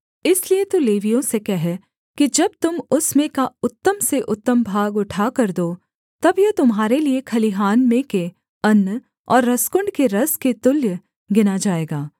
इसलिए तू लेवियों से कह कि जब तुम उसमें का उत्तम से उत्तम भाग उठाकर दो तब यह तुम्हारे लिये खलिहान में के अन्न और रसकुण्ड के रस के तुल्य गिना जाएगा